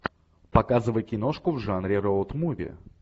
показывай киношку в жанре роуд муви